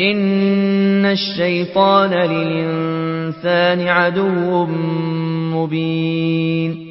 إِنَّ الشَّيْطَانَ لِلْإِنسَانِ عَدُوٌّ مُّبِينٌ